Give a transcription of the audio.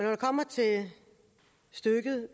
det kommer til stykket